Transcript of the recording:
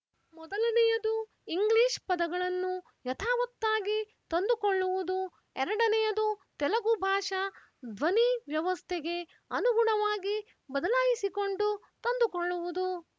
ಮೊದಲನೆಯದು ಇಂಗ್ಲೀಷ್ ಪದಗಳನ್ನು ಯಥಾವತ್ತಾಗಿ ತಂದುಕೊಳ್ಳುವುದು ಎರಡನೆಯದು ತೆಲುಗು ಭಾಷಾ ಧ್ವನಿವ್ಯವಸ್ಥೆಗೆ ಅನುಗುಣವಾಗಿ ಬದಲಾಯಿಸಿಕೊಂಡು ತಂದುಕೊಳ್ಳುವುದು